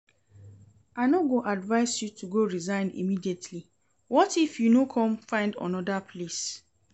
I no go advise you to go resign immediately, what if you no come find another place?